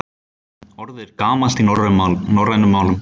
Orðið er gamalt í norrænum málum.